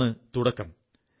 അതാണ് തുടക്കം